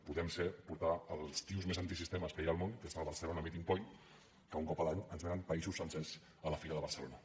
podem ser portar els tios més antisistema que hi ha al món que és el barcelona meeting point que un cop l’any ens vénen països sencers a la fira de barcelona